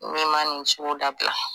N'i ma nin sugu dabila.